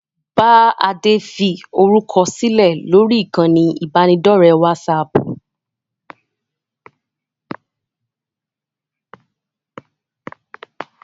Bá Adé fi orúkọ sílẹ̀ lórí ìkànnì ibanidọ̀rẹ́ WhatsApp!